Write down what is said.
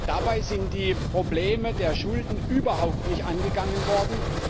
Dabei sind die Probleme der Schulden überhaupt nicht angegangen worden.